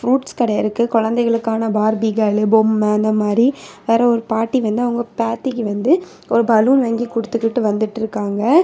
Fruits கடை இருக்கு குழந்தைகளுக்கான பார்பி கேர்ள் பொம்மை அந்த மாதிரி வேற ஒரு பாட்டி வந்து அவங்க பேத்திக்கு வந்து ஒரு பலூன் வாங்கி கொடுத்துக்கிட்டு வந்துட்டு இருக்காங்க.